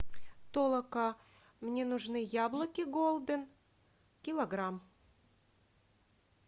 толока мне нужны яблоки голден килограмм